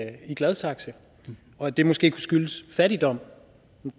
er i gladsaxe og at det måske kunne skyldes fattigdom